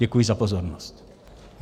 Děkuji za pozornost.